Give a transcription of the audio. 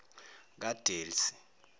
kadelsie